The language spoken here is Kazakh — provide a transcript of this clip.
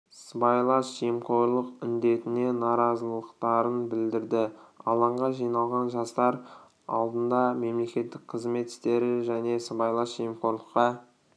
сыбайлас жемқорлық індетіне наразылықтарын білдірді алаңға жиналған жастар алдында мемлекеттік қызмет істері және сыбайлас жемқорлыққа